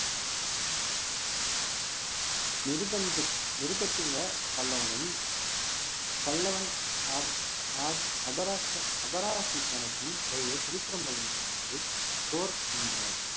நிர்பந்த~ நிருபத்துங்க பல்லவனும் பல்லவன் அ~ அ~ அபரா~ அபராஜித்தனுக்கும் இடையே திருப்புறப்பியம் என்னும் ஊரில் போர் நின்றவன்